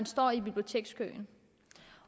står i bibliotekskøen